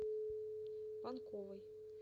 панковой